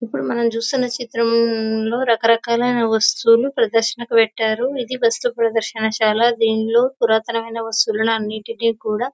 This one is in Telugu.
ఇప్పుడు మనం చూస్తున్న చిత్రం లో రకరకాలైన వస్తువులు ప్రదర్శనకు పెట్టారు ఇది వస్తూ ప్రదర్శన శాల దీంట్లో పురాతన వస్తువులు అన్నిటిని కూడా--